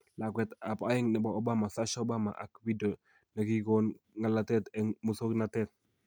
"Lakwetab aeng nebo Obama, "Sasha Obama" ak video ne kigon ng'alalet en muswonoktet